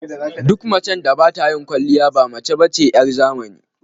Duk macen da ba ta yin kwaliya ba mace ba ce 'yar zamani.